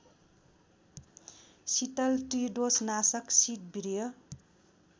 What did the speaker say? शीतल त्रिदोषनाशक शीतवीर्य